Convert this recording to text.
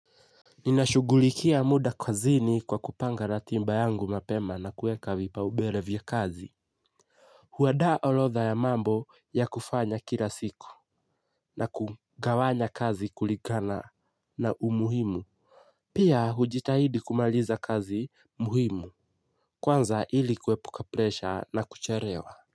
Ninashugulikia muda kazini kwa kupanga ratiba yangu mapema na kuweka vipaumbele vya kazi. Huandaa orodha ya mambo ya kufanya kila siku na kugawanya kazi kulingana na umuhimu. Pia hujitahidi kumaliza kazi muhimu. Kwanza ili kuepuka presha na kuchelewa.